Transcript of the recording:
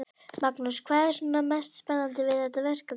Magnús: Hvað er svona mest spennandi við þetta verkefni?